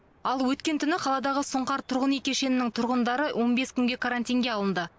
ал өткен түні қаладағы сұңқар тұрғын үй кешенінің тұрғындары он бес күнге карантинге алынды